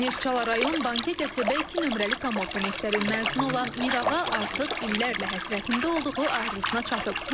Neftçala rayon Bankə qəsəbə iki nömrəli tam orta məktəbin məzunu olan Mirağa artıq illərlə həsrətində olduğu arzusuna çatıb.